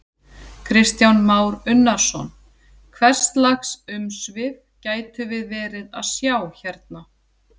Kristján Már Unnarsson: Hvers lags umsvif gætum við verið að sjá hérna?